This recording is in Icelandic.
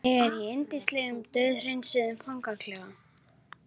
Ég er í yndislegum, dauðhreinsuðum fangaklefa.